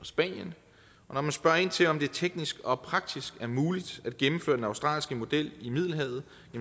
spanien når man spørger ind til om det teknisk og praktisk er muligt at gennemføre den australske model i middelhavet